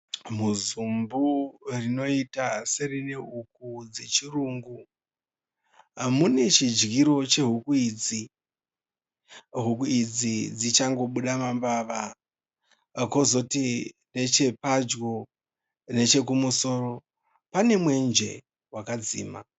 Muzumbu rinoita serine huku dzechirungu , mune chidyiro che huku idzi. Huku idzi dzichangomuda mambava. Kozoti neche padyo neche kumusoro pane mwenje wakadzima.